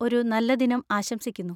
ഒരു നല്ല ദിനം ആശംസിക്കുന്നു.